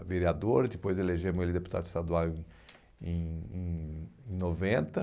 a vereadora, depois elegemos ele deputado estadual em em em em noventa